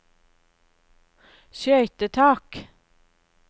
skøytetak